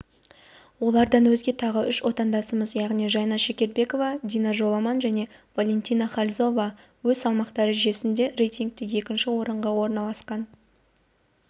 олардан өзге тағы үш отандасымыз яғни жайна шекербекова дина жоламан және валентина хальзова өз салмақ дәрежелерінде рейтингте екінші орынға орналасқан